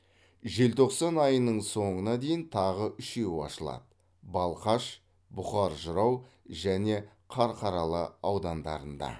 желтоқсан айының соңына дейін тағы үшеуі ашылады балқаш бұқар жырау және қарқаралы аудандарында